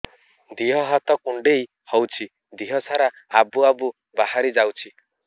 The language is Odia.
ଦିହ ହାତ କୁଣ୍ଡେଇ ହଉଛି ଦିହ ସାରା ଆବୁ ଆବୁ ବାହାରି ଯାଉଛି